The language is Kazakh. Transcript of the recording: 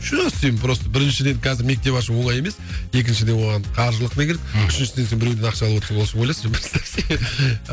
сен просто біріншіден қазір мектеп ашу оңай емес екіншіден оған қаржылық не керек мхм үшіншіден сен біреуден ақша алып отырсың ол үшін ойлашы